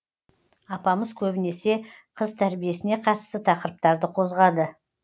апамыз көбінесе қыз тәрбиесіне қатысты тақырыптарды қозғады